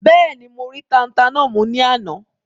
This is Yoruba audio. Bẹ́ẹ̀ni, mo rí tata náà mú ní àná?